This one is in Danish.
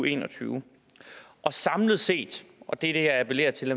en og tyve og samlet set og det jeg appellerer til